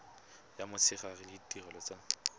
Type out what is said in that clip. ya motshegare le ditirelo tsa